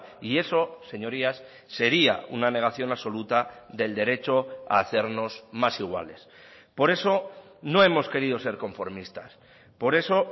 y eso señorías sería una negación absoluta del derecho a hacernos más iguales por eso no hemos querido ser conformistas por eso